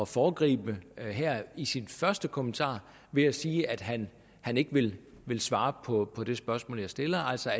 foregribe her i sin første kommentar ved at sige at han han ikke vil svare på det spørgsmål jeg stiller altså